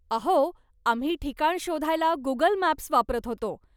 अहो, आम्ही ठिकाण शोधायला गुगल मॅप्स वापरत होतो.